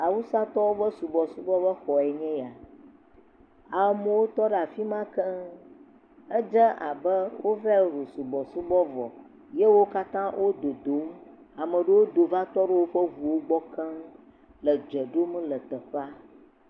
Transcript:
Awusatɔwo ƒe subɔsubɔxɔe nye eya, amewo tɔ ɖe afi ma keŋ, edze abe wova wɔ subɔsubɔ vɔ eye wo katã wo dodom, ame aɖewo do va tɔ ɖe woƒe ŋuwo gbɔ keŋ le dze ɖom le teƒea.